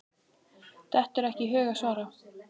Dettur ekki í hug að svara.